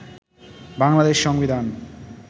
বাংলাদেশ সংবিধান